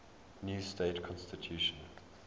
new state constitution